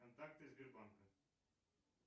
контакты сбербанка